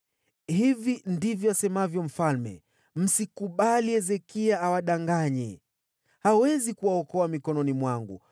Hili ndilo asemalo mfalme: Msikubali Hezekia awadanganye. Hawezi kuwaokoa mkononi mwangu.